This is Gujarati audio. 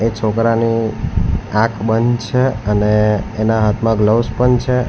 એ છોકરાની આંખ બંધ છે અને એના હાથમાં ગ્લવ્સ પણ છે.